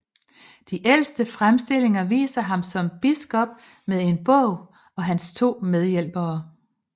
De ældste fremstillinger viser ham som biskop med en bog og hans to medhjælpere